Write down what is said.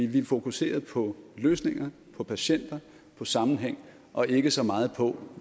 vi er fokuseret på løsninger på patienter på sammenhæng og ikke så meget på